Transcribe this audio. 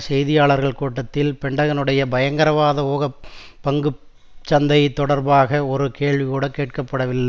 செய்தியாளர் கூட்டத்தில் பென்டகனுடைய பயங்கரவாத ஊகப் பங்கு சந்தை தொடர்பாக ஒரு கேள்விகூட கேட்கப்படவில்லை